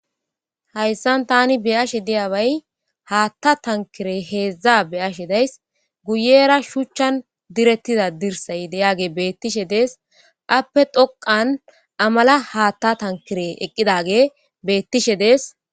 Hayssan tani be7ashe deyabay haaththa tankire heedzdza be7ashe days. guyera shuchchan direttida dirsay deyage beettishe dees. appe dhoqan amala haaththa tankire eqqidage beettishe dees.